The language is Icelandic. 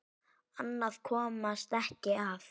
Annað komst ekki að!